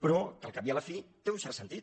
però que al cap i a la fi té un cert sentit